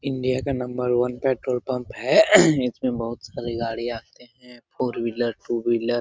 India का number one petrol pump है इसमें बहुत सारी गाड़ियाँ आते है फोर व्हीलर टू व्हीलर --